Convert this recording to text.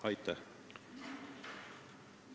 Aitäh!